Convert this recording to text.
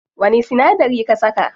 Wani sinadari ka saka?